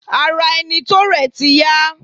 Ara ẹni tó rẹ̀ ti yá.